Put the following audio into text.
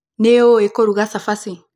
Nĩ ũĩ kũruga cabaci.